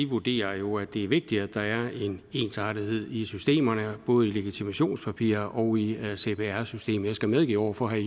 vurderer jo at det er vigtigt at der er en ensartethed i systemerne både i legitimationspapirerne og i cpr systemet jeg skal medgive over for herre